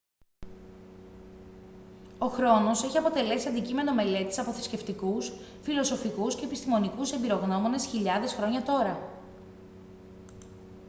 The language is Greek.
ο χρόνος έχει αποτελέσει αντικείμενο μελέτης από θρησκευτικούς φιλοσοφικούς και επιστημονικούς εμπειρογνώμονες χιλιάδες χρόνια τώρα